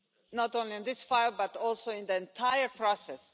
not only on this file but also in the entire process.